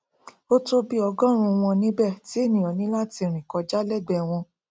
ótó bí ọgọrùún un wọn níbẹ tí ènìà ní láti rìn kọjá lẹgbẹẹ wọn